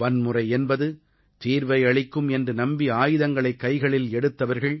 வன்முறை என்பது தீர்வை அளிக்கும் என்று நம்பி ஆயுதங்களை கைகளில் எடுத்தவர்கள்